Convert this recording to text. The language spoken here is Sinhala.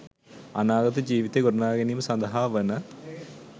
අනාගත ජීවිතය ගොඩනගා ගැනීම සඳහා වන